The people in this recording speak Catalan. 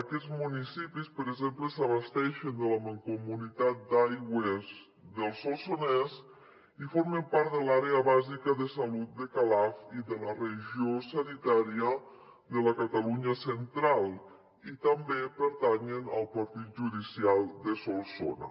aquests municipis per exemple s’abasteixen de la mancomunitat d’abastament d’aigua del solsonès i formen part de l’àrea bàsica de salut de calaf i de la regió sanitària de la catalunya central i també pertanyen al partit judicial de solsona